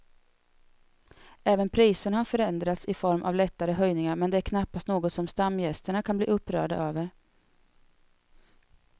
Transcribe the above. Även priserna har förändrats i form av lättare höjningar men det är knappast något som stamgästerna kan bli upprörda över.